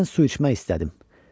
Birdən su içmək istədim.